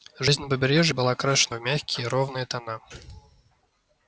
жизнь на побережье была окрашена в мягкие ровные тона